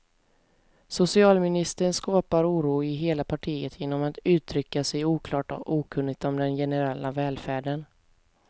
Socialministern skapar oro i hela partiet genom att uttrycka sig oklart och okunnigt om den generella välfärden.